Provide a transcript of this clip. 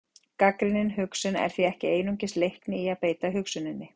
Gagnrýnin hugsun er því ekki einungis leikni í að beita hugsuninni.